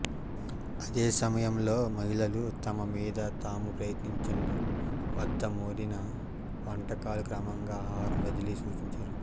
అదే సమయంలో మహిళలు తమ మీద తాము ప్రయత్నించండి వద్ద మెరీనా వంటకాలు క్రమంగా ఆహారం వదిలి సూచించారు